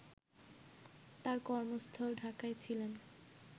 তার কর্মস্থল ঢাকায় ছিলেন